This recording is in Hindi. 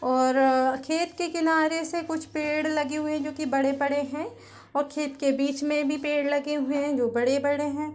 और खेत के किनारे से कुछ पेड़ लगी हुए है जो की बड़े-बड़े है और खेत के बीच मैं भी पेड़ लगे हैजो बड़े-बड़े है।